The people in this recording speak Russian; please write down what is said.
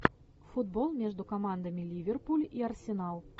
футбол между командами ливерпуль и арсенал